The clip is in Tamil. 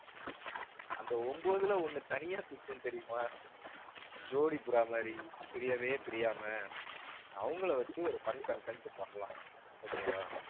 அந்த ஒன்பதுல ஒண்ணு தனியா சுத்தும் தெரியுமா? ஜோடிப்புறா மாதிரி பிரியவே பிரியாம அவங்களை வச்சு ஒரு fun content பண்ணலாம் okay வா?